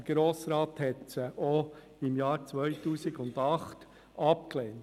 Der Grosse Rat hatte sie auch im Jahr 2008 abgelehnt.